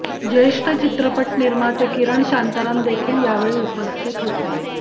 ज्येष्ठ चित्रपट निर्माते किरण शांतराम देखील यावेळी उपस्थित होते